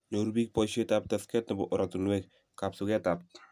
Nyoru biik boishet ab tekset nebo oratinwek, kapsuket ab